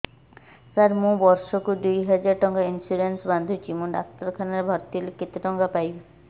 ସାର ମୁ ବର୍ଷ କୁ ଦୁଇ ହଜାର ଟଙ୍କା ଇନ୍ସୁରେନ୍ସ ବାନ୍ଧୁଛି ମୁ ଡାକ୍ତରଖାନା ରେ ଭର୍ତ୍ତିହେଲେ କେତେଟଙ୍କା ପାଇବି